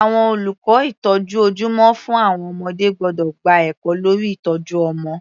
Àwọn olùkọ́ ìtọ́jú ojúmọ́ fún àwọn ọmọdé gbọ́dọ̀ gba ẹ̀kọ́ lórí ìtọ́jú ọmọ.